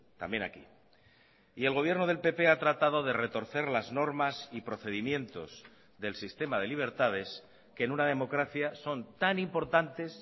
también aquí y el gobierno del pp ha tratado de retorcer las normas y procedimientos del sistema de libertades que en una democracia son tan importantes